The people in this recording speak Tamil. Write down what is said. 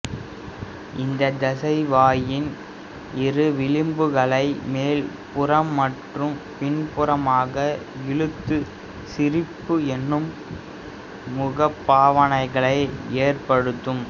இந்த தசை வாயின் இரு விளிம்புகளை மேல் புறம் மற்றும் பின்புறமாக இழுத்து சிரிப்பு எனும் முக பாவனைகளை ஏற்படுத்தும்